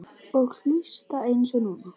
Og hlusta eins og núna.